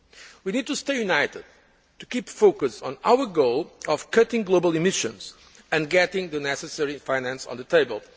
We need to stay united and to keep focused on our goal of cutting global emissions and getting the necessary finance on the table